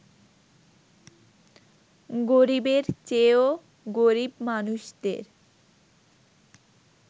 গরিবের চেয়েও গরিব মানুষদের